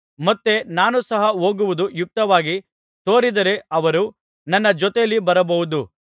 ಮತ್ತೆ ನಾನು ಸಹ ಹೋಗುವುದು ಯುಕ್ತವಾಗಿ ತೋರಿದರೆ ಅವರು ನನ್ನ ಜೊತೆಯಲ್ಲಿ ಬರಬಹುದು